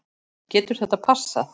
Getur þetta passað?